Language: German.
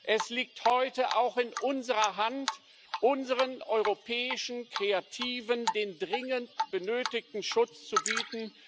Es liegt heute auch in unserer Hand, unseren europäischen Kreativen den dringend benötigten Schutz zu bieten.